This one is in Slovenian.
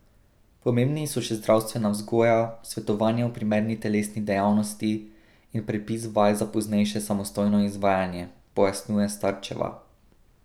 Pomembni so še zdravstvena vzgoja, svetovanje o primerni telesni dejavnosti in predpis vaj za poznejše samostojno izvajanje, pojasnjuje Starčeva.